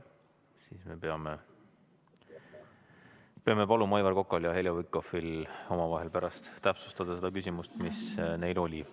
Siis me peame paluma Aivar Kokal ja Heljo Pikhofil omavahel pärast täpsustada seda küsimust, mis neil oli.